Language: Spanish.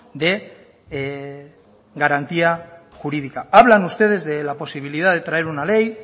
de garantía jurídica hablan ustedes de la posibilidad de traer una ley